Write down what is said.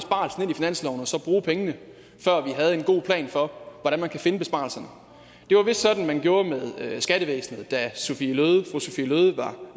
i finansloven og så bruge pengene før vi havde en god plan for hvordan man kan finde besparelserne det var vist sådan man gjorde med skattevæsenet da sophie løhde